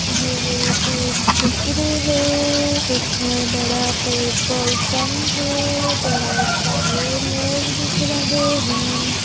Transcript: यह एक चित्र है इसमें बड़ा पेट्रोल पंप है बहुत सारे लोग दिख रहे हैं।